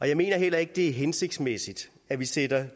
jeg mener heller ikke det er hensigtsmæssigt at vi stiller